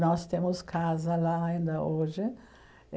Nós temos casa lá ainda hoje.